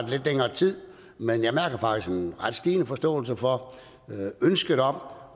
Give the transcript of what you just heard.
lidt længere tid men jeg mærker faktisk en ret stigende forståelse for ønsket om